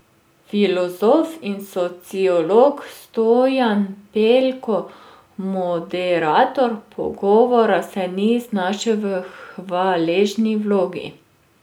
Filozof in sociolog Stojan Pelko, moderator pogovora, se ni znašel v hvaležni vlogi.